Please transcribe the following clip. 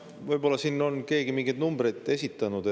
Võib-olla on siin keegi mingeid numbreid esitanud.